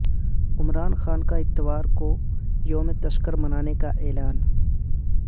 عمران خان کا اتوار کو یوم تشکر منانے کا اعلان